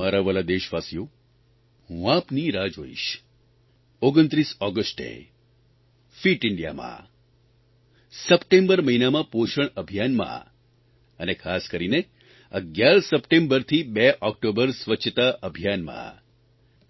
મારા વ્હાલા દેશવાસીઓ હું આપની રાહ જોઇશ 29 ઓગષ્ટે ફીટ ઇન્ડિયામાં સપ્ટેમ્બર મહિનામાં પોષણ અભિયાનમાં અને ખાસ કરીને 11 સપ્ટેમ્બરથી 2 ઓકટોબર સ્વચ્છતા અભિયાનમાં